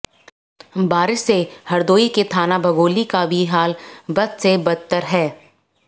बारिश से हरदोई के थाना बघौली का भी हाल बद से बदतर हैं